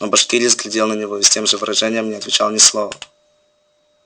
но башкирец глядел на него с тем же выражением и не отвечал ни слова